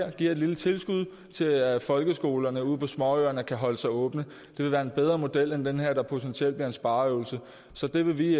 at give et lille tilskud til at folkeskolerne ude på småøerne kan holde sig åbne det vil være en bedre model end den her der potentielt bliver en spareøvelse så det vil vi